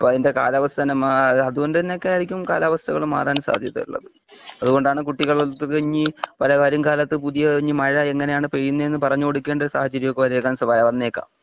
ഇപ്പം അതിന്റെ കാലാവസ്ഥ തന്നെ മ്മാ അതുകൊണ്ട് തന്നെ ഒക്കെ ആരിക്കും കാലവസ്ഥകള് മാറാൻ സാധ്യതയുള്ളത് അതുകൊണ്ട് ആണ് കുട്ടികളുടെ എടുത്ത് ഇനിയും പല വരും കാലത്ത്പുതിയ ഇനീം മഴ എങ്ങനെ ആണ് പെയ്യുന്നത് എന്നു പറഞ്ഞ് കൊടുക്കേണ്ട ഒരു സാഹചര്യം ഒക്കെ വന്നേക്കാം